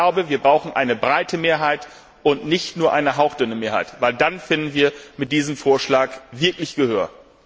Aber ich glaube, wir brauchen eine breite Mehrheit und nicht nur eine hauchdünne Mehrheit, denn dann finden wir mit diesem Vorschlag wirklich Gehör!